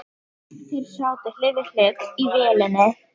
Þeir sátu hlið við hlið í vélinni.